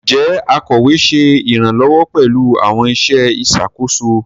Njẹ akọwe ṣe iranlọwọ pẹlu awọn iṣẹ iṣakoso?